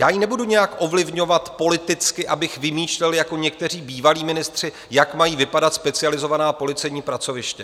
Já ji nebudu nijak ovlivňovat politicky, abych vymýšlel jako někteří bývalí ministři, jak mají vypadat specializovaná policejní pracoviště.